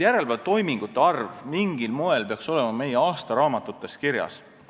Järelevalvetoimingute arv peaks mingil moel olema meie aastaraamatutes kirjas.